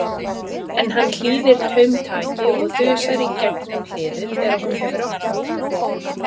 En hann hlýðir taumtaki og þusar í gegnum hliðið þegar hún hefur opnað það.